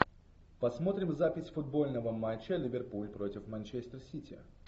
посмотрим запись футбольного матча ливерпуль против манчестер сити